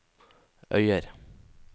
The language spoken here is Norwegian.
Øyer